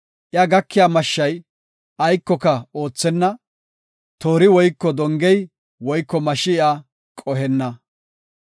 Iya gakiya mashshay aykoka oothenna; toori woyko dongey woyko mashshi iya qohenna.